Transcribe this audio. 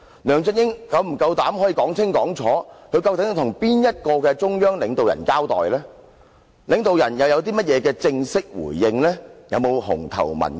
梁振英是否夠膽清楚說明，他究竟是向哪位中央領導人交代，而領導人又有何正式回應，有否"紅頭文件"？